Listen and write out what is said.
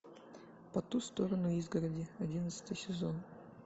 по ту сторону изгороди одиннадцатый сезон